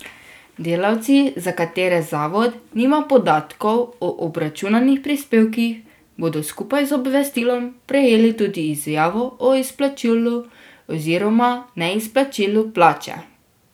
Delavci, za katere zavod nima podatkov o obračunanih prispevkih, bodo skupaj z obvestilom prejeli tudi izjavo o izplačilu oziroma neizplačilu plače.